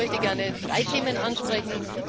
Ich möchte gerne drei Themen ansprechen.